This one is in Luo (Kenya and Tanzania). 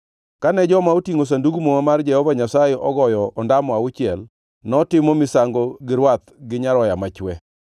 Kane joma otingʼo Sandug Muma mar Jehova Nyasaye ogoyo ondamo auchiel, notimo misango gi rwath gi nyaroya machwe.